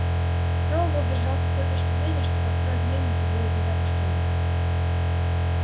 сноуболл держался той точки зрения что построить мельницу будет не так уж трудно